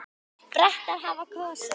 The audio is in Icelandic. Bretar hafa kosið.